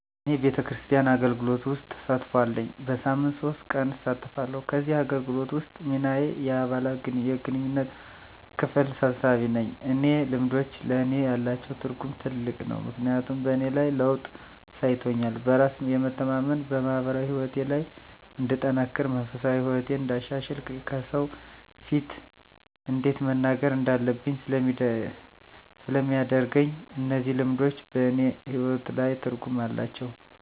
እኔ ቤተክርስቲያን አገልግሎት ውስጥ ተሳትፎ አለኝ። በሳምንት ሶስት ቀን እሳተፋለሁ ከዚህ አገልግሎት ውስጥ ሚናየ የአባላት የግንኙነት ክፍል ሰብሳቢ ነኝ። እነዚህ ልምዶች ለእኔ ያላቸው ትርጉም ትልቅ ነው ምክንያቱም በእኔ ላይ ለውጥ አሳይቶኛል በራስ የመተማመን፣ በማህበራዊ ህይወቴ ላይ እንድጠነክር፣ መንፈሳዊ ህይወቴን እንዳሻሽል፣ ከሰው ፊት እንዴት መናገር እንዳለብኝ ስለሚያደርገኝ እነዚህ ልምዶች በእኔ ህይወት ላይ ትርጉም አላቸው።